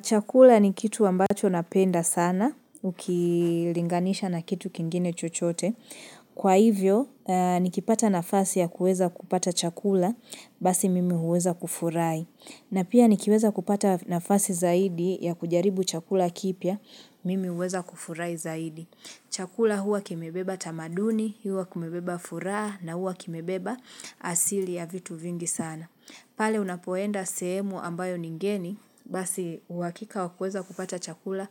Chakula ni kitu ambacho napenda sana, ukilinganisha na kitu kingine chochote. Kwa hivyo, nikipata nafasi ya kueza kupata chakula, basi mimi huweza kufurahi. Na pia nikipata nafasi zaidi ya kujaribu chakula kipya, mimi huweza kufurai zaidi. Chakula huwa kimebeba tamaduni, huwa kimebeba furaha, na huwa kimebeba asili ya vitu vingi sana. Pale unapoenda sehemu ambayo ni ngeni, basi uhakika wakueza kupata chakula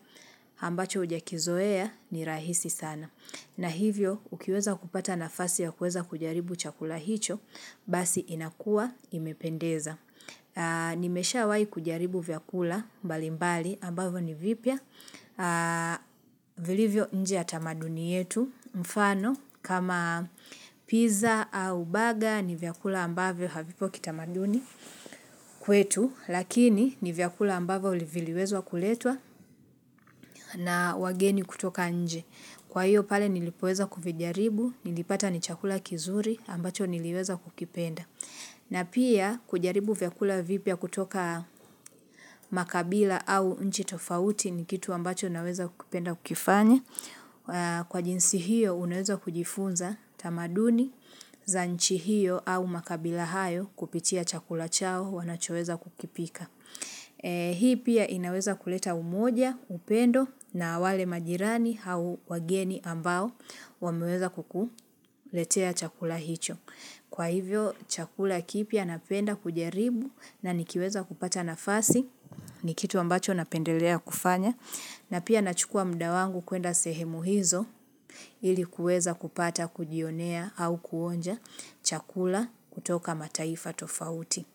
ambacho ujakizoea ni rahisi sana. Na hivyo, ukiweza kupata nafasi ya kueza kujaribu chakula hicho, basi inakua imependeza. Nimeshawai kujaribu vyakula mbali mbali ambayo ni vipya. Vilivyo nje ya tamaduni yetu Mfano kama pizza au baga ni vyakula ambavyo havipo kitamaduni kwetu Lakini ni vyakula ambavo uli viliwezwa kuletwa na wageni kutoka nje Kwa hiyo pale nilipoweza kuvijaribu nilipata ni chakula kizuri ambacho niliweza kukipenda na pia kujaribu vyakula vipya kutoka makabila au nchi tofauti ni kitu ambacho naweza kukipenda kukifanya Kwa jinsi hiyo unaweza kujifunza tamaduni za nchi hiyo au makabila hayo kupitia chakula chao wanachoweza kukipika Hii pia inaweza kuleta umoja, upendo na wale majirani au wageni ambao wameweza kukuletea chakula hicho Kwa hivyo chakula kipya napenda kujaribu na nikiweza kupata nafasi ni kitu ambacho napendelea kufanya na pia nachukua muda wangu kuenda sehemu hizo ili kuweza kupata kujionea au kuonja chakula kutoka mataifa tofauti.